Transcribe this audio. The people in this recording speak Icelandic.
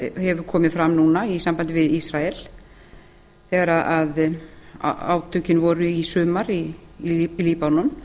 hefur komið fram núna í sambandi við ísrael þegar átökin voru í sumar í líbanon